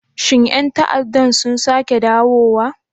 Shin 'yan ta'addan sun sake dawowa?